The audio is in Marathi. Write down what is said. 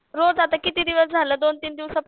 रोज आता किती दिवस झालं दोन तीन दिवसात